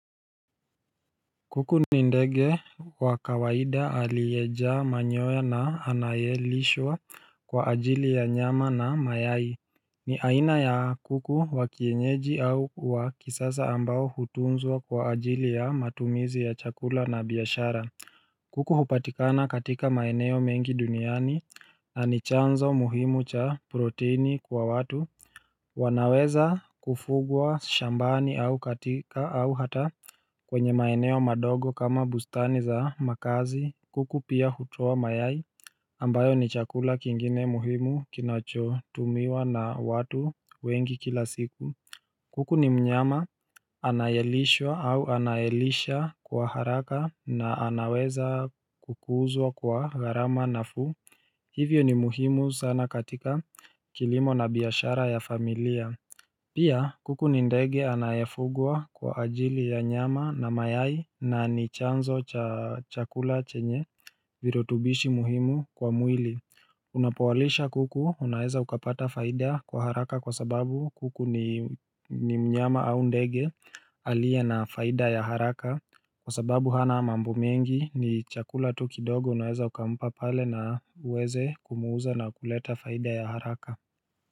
Kuku ni ndege wa kawaida aliyejaa manyoya na anayelishwa kwa ajili ya nyama na mayai aina ya kuku wa kienyeji au wa kisasa ambao hutunzwa kwa ajili ya matumizi ya chakula na biashara kuku hupatikana katika maeneo mengi duniani nanichanzo muhimu cha proteini kwa watu wanaweza kufugwa shambani au katika au hata kwenye maeneo madogo kama bustani za makazi kuku pia hutoa mayai ambayo ni chakula kingine muhimu kinachotumiwa na watu wengi kila siku kuku ni mnyama anayelishwa au anayelisha kwa haraka na anaweza kukuzwa kwa gharama nafuu Hivyo ni muhimu sana katika kilimo na biyashara ya familia Pia kuku ni ndege anayafugwa kwa ajili ya nyama na mayai na nichanzo cha chakula chenye Virotubishi muhimu kwa mwili Unapowalisha kuku unaeza ukapata faida kwa haraka kwa sababu kuku ni mnyama au ndege aliyena faida ya haraka Kwa sababu hana mambo mengi ni chakula tu kidogo unaeza ukampa pale na uweze kumuuza na kuleta faida ya haraka.